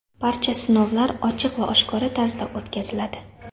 Barcha sinovlar ochiq va oshkora tarzda o‘tkaziladi.